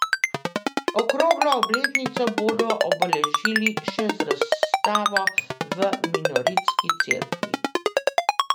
Okroglo obletnico bodo obeležili še z razstavo v Minoritski cerkvi.